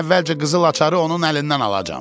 Mən əvvəlcə qızıl açarı onun əlindən alacağam.